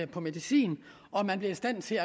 på medicin og at man bliver i stand til